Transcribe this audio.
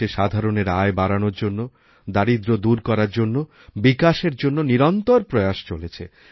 দেশে সাধারণের আয় বাড়ানোর জন্য দারিদ্র্য দূর করার জন্যবিকাশের জন্য নিরন্তর প্রয়াস চলেছে